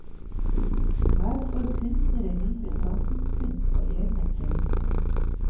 Her får kunstnere vise samtidskunst på egne premisser.